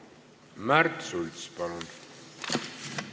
Märt Sults, palun!